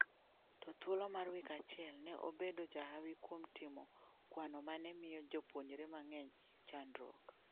To e thuolo mar wik achiel , ne obedo jahawi kuom timo kwano mane miyo jopuonjre mang'eny chandruok''.